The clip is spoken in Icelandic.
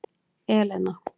Elena